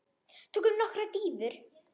Tökum nokkrar dýfur!